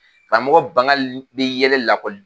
Karamɔgɔ bangali bɛ yɛlɛ lakɔli